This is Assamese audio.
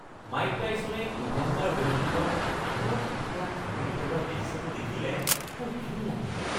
মাইক টাইছনে ইভেণ্ডাৰ হ'লিফিল্ডৰ কাণৰ এটুকুৰা কামুৰি পেলোৱা দৃশ্যটো দেখিলে মোৰ ঘিণ লাগে।